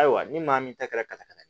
Ayiwa ni maa min ta kɛra ka ɲa dɛ